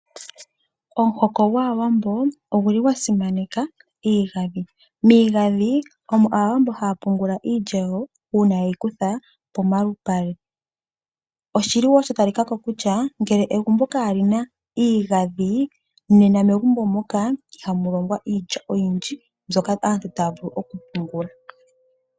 Omuhoko gwAawambo oguli gwa simaneka iigandhi. Miigandhi omo Aawambo haya pungula iilya yawo, uuna ye yi kutha pomalupale. Oshili wo sha talikako kutya, ngele egumbo kali na iigandhi, nena megumbo moka ihamu longwa iilya oyindji, mbyoka aantu, taya vulu okupungula.